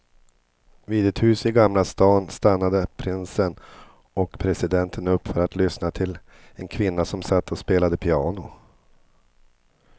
Vid ett hus i gamla stan stannade prinsen och presidenten upp för att lyssna till en kvinna som satt och spelade piano.